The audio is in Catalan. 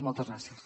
moltes gràcies